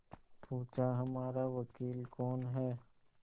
पूछाहमारा वकील कौन है